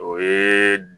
O ye